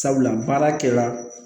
Sabula baarakɛla